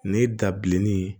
Ni dabilenni